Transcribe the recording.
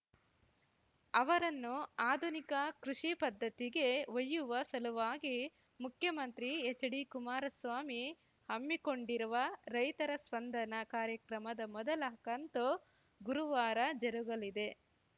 ಅವರನ್ನು ಆಧುನಿಕ ಕೃಷಿ ಪದ್ಧತಿಗೆ ಒಯ್ಯುವ ಸಲುವಾಗಿ ಮುಖ್ಯಮಂತ್ರಿ ಎಚ್‌ಡಿಕುಮಾರಸ್ವಾಮಿ ಹಮ್ಮಿಕೊಂಡಿರುವ ರೈತರ ಸ್ಪಂದನ ಕಾರ್ಯಕ್ರಮದ ಮೊದಲ ಕಂತು ಗುರುವಾರ ಜರುಗಲಿದೆ